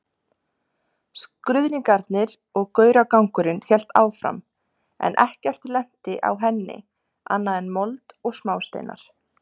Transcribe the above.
Skruðningarnar og gauragangurinn hélt áfram en ekkert lenti á henni annað en mold og smásteinar.